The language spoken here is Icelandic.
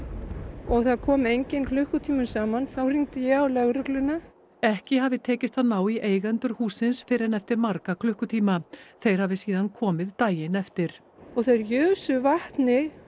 og það kom enginn klukkutímum saman þá hringdi ég á lögregluna sem ekki hafi tekist að ná í eigendur hússins fyrr en eftir marga klukkutíma þeir hafi síðan komið daginn eftir og þeir jusu vatni